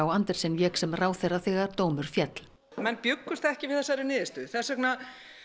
Andersen vék sem ráðherra þegar dómur féll menn bjuggust ekki við þessari niðurstöðu þess vegna